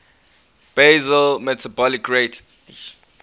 basal metabolic rate